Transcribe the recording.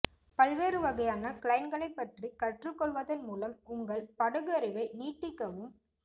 பல்வேறு வகையான கிளைன்களைப் பற்றி கற்றுக் கொள்வதன் மூலம் உங்கள் படகு அறிவை நீட்டிக்கவும்